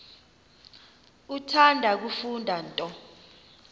uthanda kufunda nto